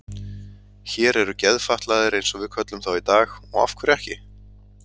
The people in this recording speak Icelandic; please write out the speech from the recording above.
Hér eru geðfatlaðir eins og við köllum þá í dag og af hverju ekki?